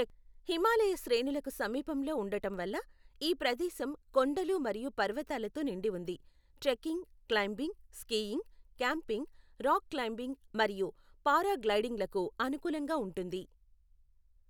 హిమాలయ శ్రేణులకు సమీపంలో ఉండటం వల్ల, ఈ ప్రదేశం కొండలు మరియు పర్వతాలతో నిండి ఉంది, trekking, climbing, skiing, camping, rock climbing మరియు పారాగ్లైడింగ్లకు అనుకూలంగా ఉంటుంది.